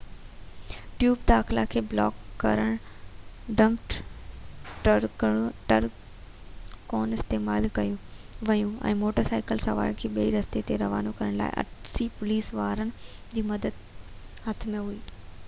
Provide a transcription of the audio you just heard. tube داخلا کي block ڪرڻ لاءِ ڊمپ ٽرڪون استعمال ڪيون ويون ۽ موٽر سائيڪل سوارن کي ٻئي رستي تي روانو ڪرڻ لاءِ 80 پوليس وارن جي مدد هٿ ۾ هئي